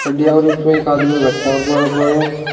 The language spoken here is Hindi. और उसपे एक आदमी बैठा है और बराबर में--